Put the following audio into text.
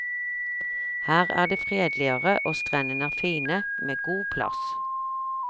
Her er det fredeligere, og strendene er fine, med god plass.